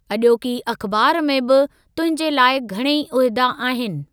अजो॒की अख़िबार में बि तुंहिंजे लाइक़ घणेई उहिदा आहिनि।